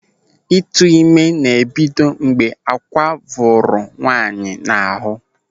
Ịtụime ná-ebido mgbe àkwà vụrụ nwaanyị n'ahụ.